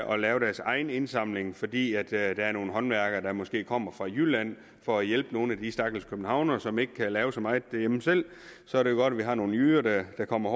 og lave deres egen indsamling fordi der er nogle håndværkere der måske kommer fra jylland for at hjælpe nogle af de stakkels københavnere som ikke kan lave så meget derhjemme selv så er det godt at vi har nogle jyder der kommer